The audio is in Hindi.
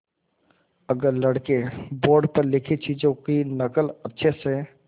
अगर लड़के बोर्ड पर लिखी चीज़ों की नकल अच्छे से